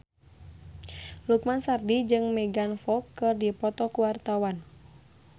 Lukman Sardi jeung Megan Fox keur dipoto ku wartawan